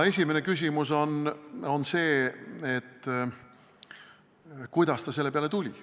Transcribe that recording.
Esimene küsimus on see, kuidas ta selle peale tuli.